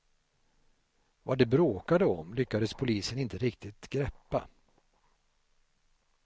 Vad de bråkade om lyckades polisen inte riktigt greppa.